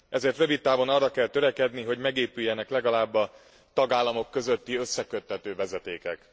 Ezért rövid távon arra kell törekedni, hogy megépüljenek legalább a tagállamok közötti összekötő vezetékek.